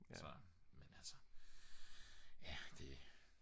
så men altså ja det